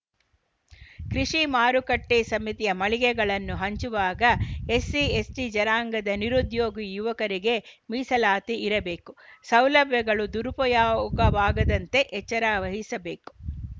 ಕೃಷಿ ಮಾರುಕಟ್ಟೆಸಮಿತಿಯು ಮಳಿಗೆಗಳನ್ನು ಹಂಚುವಾಗ ಎಸ್‌ಸಿಎಸ್‌ಟಿ ಜನಾಂಗದ ನಿರುದ್ಯೋಗಿ ಯುವಕರಿಗೆ ಮೀಸಲಾತಿ ಇರಬೇಕು ಸೌಲಭ್ಯಗಳು ದುರುಪಯಾಗವಾಗದಂತೆ ಎಚ್ಚರ ವಹಿಸಬೇಕು